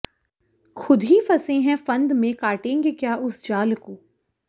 खुद ही फंसे है फंद में काटेंगे क्या उस जाल को